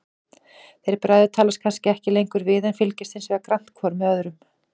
Þeir bræður talast kannski ekki lengur við, en fylgjast hinsvegar grannt hvor með öðrum.